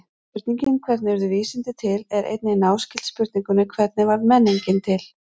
Spurningin hvernig urðu vísindi til er einnig náskyld spurningunni hvernig varð menningin til?